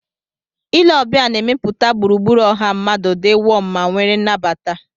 Ile ọbịa na-emepụta gburugburu ọha mmadụ di wom ma nwere anabata.